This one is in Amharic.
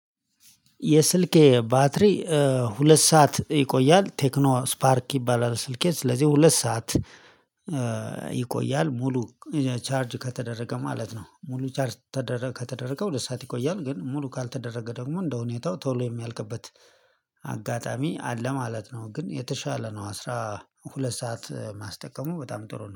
የስልኬ ባትሪ ሁለት ሰዓት ይቆያል። ቴክኖ ስፓርክ ይባላል ስልኬ ስለዚህ ሁለት ሰዓት ይቆያል ሙሉ ቻርጅ ከተደረገ ማለት ነው። ሙሉ ቻርጅ ከተደረገ ሁለት ሰዓት ይቆያል። ግን ሙሉ ካልተደረገ ደግሞ እንደሁኔታው ቶሎ የሚያልቅበት አጋጣሚ አለ ማለት ነው። ግን የተሻለ ነው አስራ ሁለት ሰዓት ማስጠቀሙ በጣም ጥሩ ነው